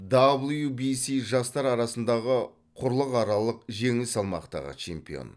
дабл ю би си жастар арасындағы құрлықаралық жеңіл салмақтағы чемпион